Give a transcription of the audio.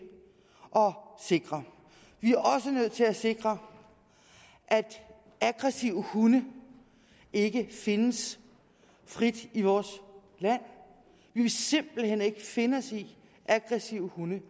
sikre vi er også nødt til at sikre at aggressive hunde ikke findes frit i vores land vi vil simpelt hen ikke finde os i aggressive hunde